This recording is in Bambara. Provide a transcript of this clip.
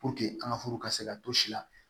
an ka furu ka se ka to si la